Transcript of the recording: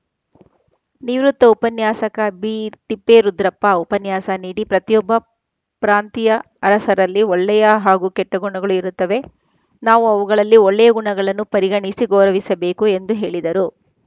ನಿವೃತ್ತ ಉಪನ್ಯಾಸಕ ಬಿತಿಪ್ಪೇರುದ್ರಪ್ಪ ಉಪನ್ಯಾಸ ನೀಡಿ ಪ್ರತಿಯೊಬ್ಬ ಪ್ರಾಂತಿಯ ಅರಸರಲ್ಲಿ ಒಳ್ಳೆಯ ಹಾಗೂ ಕೆಟ್ಟಗುಣಗಳು ಇರುತ್ತವೆ ನಾವು ಅವುಗಳಲ್ಲಿ ಒಳ್ಳೆಯ ಗುಣಗಳನ್ನು ಪರಿಗಣಿಸಿ ಗೌರವಿಸಬೇಕು ಎಂದು ಹೇಳಿದರು